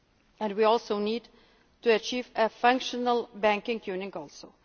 union. And we need to achieve a functional banking